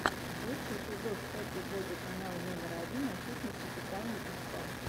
лучший эпизод хэппи боди канал номер один о фитнесе питании и спа